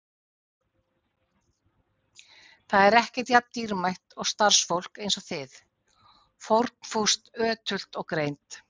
Ekkert er jafn dýrmætt og starfsfólk eins og þið: fórnfúst, ötult og greint.